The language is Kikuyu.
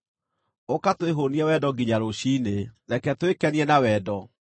Ũka twĩhũũnie wendo nginya rũciinĩ; reke twĩkenie na wendo!